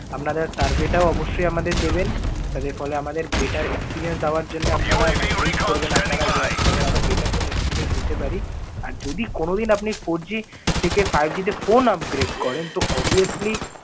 আপনারা survey টাও অবশ্যই আমাদের দেবেন। লাইতে ফলে আমাদের better experience দেওয়ার জন্যে আপনারা মানে help করবেন। আপনারা যে আপনাদের আরও better যেন experience দিতে পারি। আর যদি কোনো দিন আপনি four G থেকে five G তে phone upgrade করেন, তো obvilusly